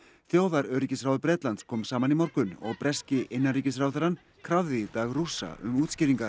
þjóðaröryggisráð Bretlands kom saman í morgun og breski innanríkisráðherrann krafði í dag Rússa um útskýringar